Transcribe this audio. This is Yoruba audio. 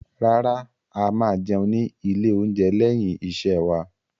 Rárá, a máa jẹun ní ilé-oúnjẹ lẹ́yìn iṣẹ́ wa.